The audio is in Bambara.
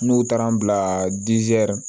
N'u taara n bila